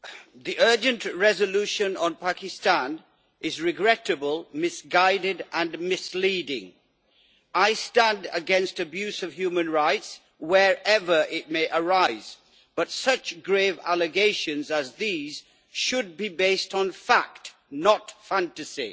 Mr President, the urgent resolution on Pakistan is regrettable, misguided and misleading. I stand against abuse of human rights, wherever it may arise, but such grave allegations as these should be based on fact, not fantasy.